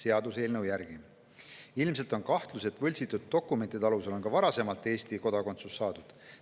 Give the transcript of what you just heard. Ilmselt on kahtlusi, et ka varasemalt on võltsitud dokumentide alusel Eesti kodakondsust saadud.